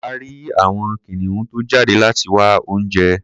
A rí àwọn kìnìún tó jáde láti wá oúnjẹ.